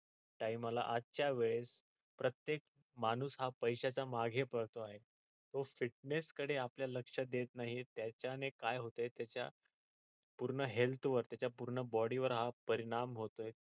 time ला आजच्या वेळेस प्रत्येक माणूस हा पैश्याच्या मागे पळतो आहे तो fitness कडे आपले लक्ष देत नाहीच आहे त्याने काय होते त्याच्या पूर्ण health वर त्याच्या पूर्ण body वर आज परिणाम होतोय.